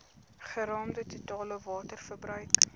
geraamde totale waterverbruik